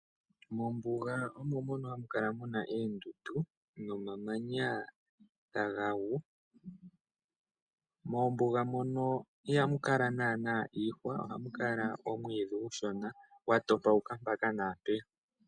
Mombuga omo mono hamukala muna oondundu no mamanya taga gu. Moombuga muno ihamu kala naana iihwa ohamukala omwiidhi omushona gwa topoka mpaka naa mpeya.